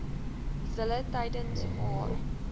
zille tydens haar